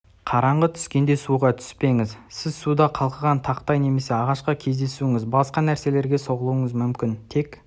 қараңғы түскенде суға түспеңіз сіз суда қалқыған тақтай немесе ағашқа кездесуіңіз басқа нәрселерге соғылуыңыз мүмкін тек